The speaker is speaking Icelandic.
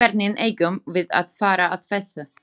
Hvernig eigum við að fara að þessu?